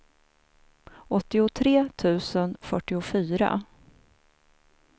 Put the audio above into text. åttiotre tusen fyrtiofyra